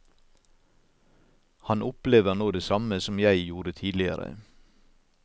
Han opplever nå det samme som jeg gjorde tidligere.